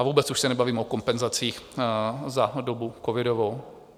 A vůbec už se nebavím o kompenzacích za dobu covidovou.